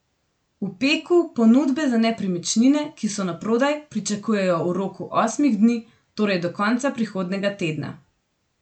V Peku ponudbe za nepremičnine, ki so naprodaj, pričakujejo v roku osmih dni, torej do konca prihodnjega tedna.